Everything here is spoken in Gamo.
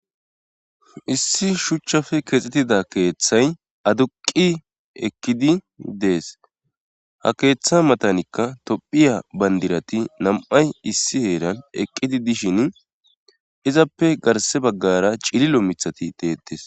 issi shuchchafe keexxetida keeththay aduqi eqkidi dees ha keeththa matanikka tophiya bandirati nam7ay issi heeran eqqidi dishin izappe garse baggara cililo mithati deettes